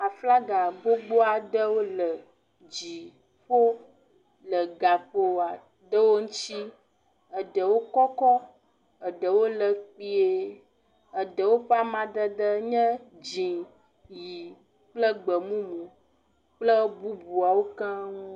Aflaga gbogbo aɖewo le dziƒo le gakpo aɖewo ŋuti. Eɖewo kɔkɔ, eɖewo le kpui, eɖewo ƒe amadede nye dzi, yi kple gbemumu kple bubuawo keŋ.